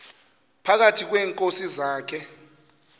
phakathi kweenkosi zakhe